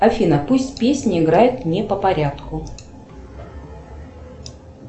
афина пусть песни играют не по порядку